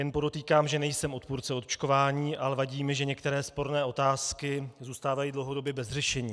Jen podotýkám, že nejsem odpůrce očkování, ale vadí mi, že některé sporné otázky zůstávají dlouhodobě bez řešení.